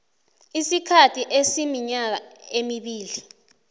isikhathi esiminyaka emibili